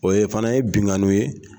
O ye fana ye binnkanni ye